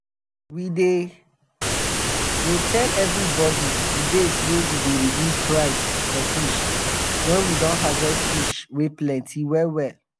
we dey dey tell evribodi d days wey we go reduce price for um fish wen we um don harvest fish wey plenty well well.